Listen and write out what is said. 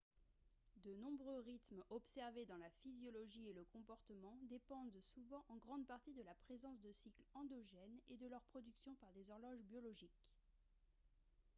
de nombreux rythmes observés dans la physiologie et le comportement dépendent souvent en grande partie de la présence de cycles endogènes et de leur production par des horloges biologiques